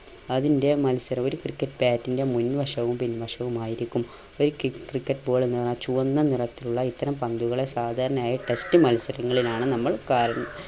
അതിൻറെ മത്സരം ഒരു ക്രിക്കറ്റ് bat ൻറെ മുൻവശവും പിൻവശവും ആയിരിക്കും ഒരു കി ക്രിക്കറ്റ് ball എന്ന ചുവന്ന നിറത്തിലുള്ള ഇത്തരം പന്തുകളെ സാധാരണയായി test മത്സരങ്ങളിലാണ് നമ്മൾ